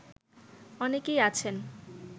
অনেকেই আছেন